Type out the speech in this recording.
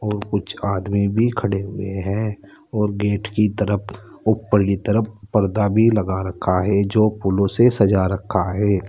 और कुछ आदमी भी खड़े हुए हैं और गेट की तरफ ऊपर की तरफ पर्दा भी लगा रखा है जो फूलों से सजा रखा है।